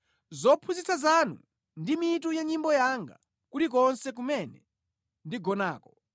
Zophunzitsa zanu ndi mitu ya nyimbo yanga kulikonse kumene ndigonako.